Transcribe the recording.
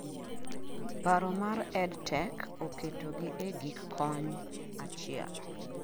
paro mar ed tech-oketo gi e gik kony achiel